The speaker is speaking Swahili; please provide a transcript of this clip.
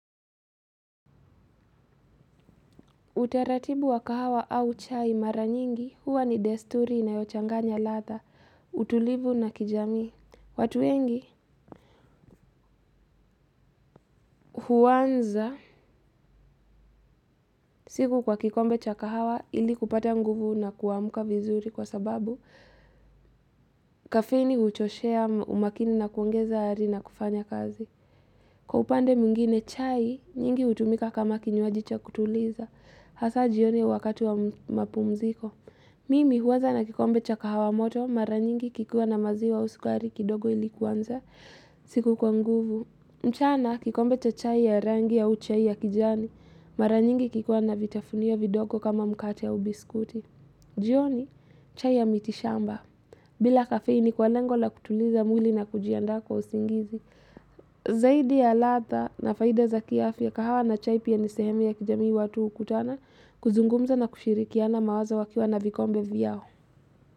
Utaratibu wa kahawa au chai mara nyingi, huwa ni desturi inayochanganya ladha, utulivu na kijamii. Watu wengi huanza siku kwa kikombe cha kahawa ili kupata nguvu na kuamka vizuri kwa sababu kafeini huchoshea umakini na kuongeza ari na kufanya kazi. Kwa upande mwingine chai, nyingi hutumika kama kinywaji cha kutuliza. Hasa jioni wakati wa mapumziko. Mimi huanza na kikombe cha kahawa moto mara nyingi kikiwa na maziwa au sukari kidogo ili kuanza siku kwa nguvu. Mchana kikombe cha chai ya rangi au chai ya kijani mara nyingi kikiwa na vitafunio vidogo kama mkate au biskuti. Jioni chai ya mitishamba. Bila kafeini kwa lengo la kutuliza mwili na kujiandaa kwa usingizi. Zaidi ya ladha na faida za kiafya kahawa na chai pia ni sehemu ya kijamii watu hukutana kuzungumza na kushirikiana mawazo wakiwa na vikombe vyao.